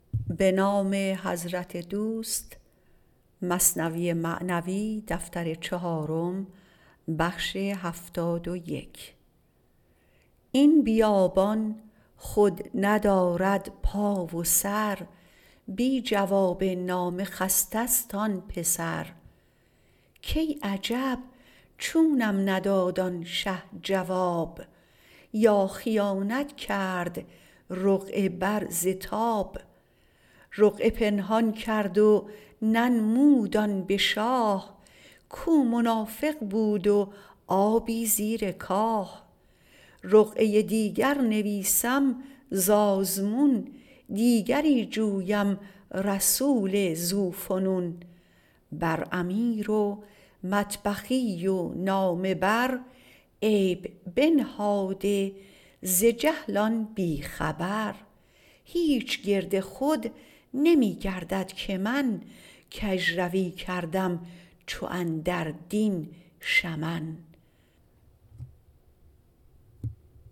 این بیابان خود ندارد پا و سر بی جواب نامه خسته ست آن پسر کای عجب چونم نداد آن شه جواب یا خیانت کرد رقعه بر ز تاب رقعه پنهان کرد و ننمود آن به شاه کو منافق بود و آبی زیر کاه رقعه دیگر نویسم ز آزمون دیگری جویم رسول ذو فنون بر امیر و مطبخی و نامه بر عیب بنهاده ز جهل آن بی خبر هیچ گرد خود نمی گردد که من کژروی کردم چو اندر دین شمن